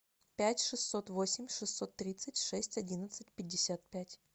пять шестьсот восемь шестьсот тридцать шесть одиннадцать пятьдесят пять